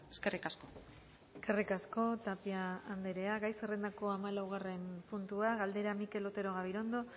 eskerrik asko eskerrik asko tapia andrea gai zerrendako hamalaugarren puntua galdera mikel otero gabirondo